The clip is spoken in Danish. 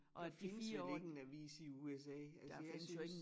Der findes vel ikke en avis i USA altså jeg synes